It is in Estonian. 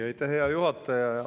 Aitäh, hea juhataja!